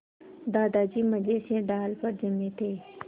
दादाजी मज़े से डाल पर जमे थे